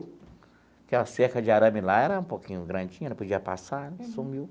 Aquela cerca de arame lá era um pouquinho grandinha, não podia passar, sumiu.